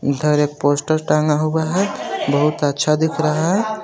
इधर एक पोस्टर टंगा हुआ है बहुत अच्छा दिख रहा है.